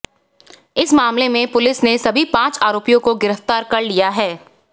इस मामले में पुलिस ने सभी पांच आरोपियों को गिरफ्तार कर लिया है